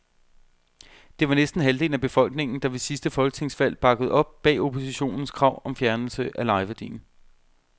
Det var næsten halvdelen af befolkningen, der ved sidste folketingsvalg bakkede op bag oppositionens krav om fjernelse af lejeværdien.